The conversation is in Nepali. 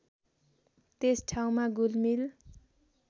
त्यस ठाउँमा घुलमिल